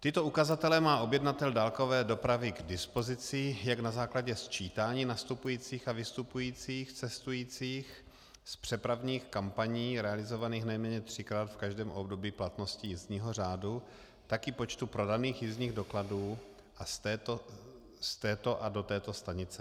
Tyto ukazatele má objednatel dálkové dopravy k dispozici jak na základě sčítání nastupujících a vystupujících cestujících z přepravních kampaní realizovaných nejméně třikrát v každém období platnosti jízdního řádu, tak i počtu prodaných jízdních dokladů z této a do této stanice.